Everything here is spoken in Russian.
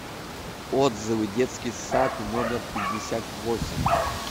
отзывы детский сад номер пятьдесят восемь